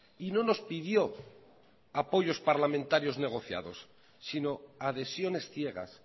y no nos pidió apoyos parlamentarios negociados sino adhesiones ciegas